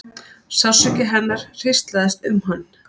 Sársauki hennar hríslaðist um hann.